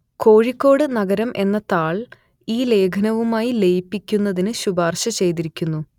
കോഴിക്കോട് നഗരം എന്ന താൾ ഈ ലേഖനവുമായി ലയിപ്പിക്കുന്നതിന് ശുപാർശ ചെയ്തിരിക്കുന്നു